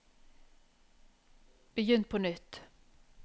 begynn på nytt